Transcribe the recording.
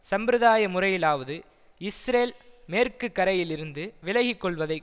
சம்பிரதாய முறையிலாவது இஸ்ரேல் மேற்குக்கரையிலிருந்து விலகி கொள்வதை